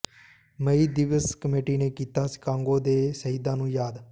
ਮਈ ਦਿਵਸ ਕਮੇਟੀ ਨੇ ਕੀਤਾ ਸ਼ਿਕਾਗੋ ਦੇ ਸ਼ਹੀਦਾਂ ਨੂੰ ਯਾਦ